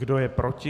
Kdo je proti?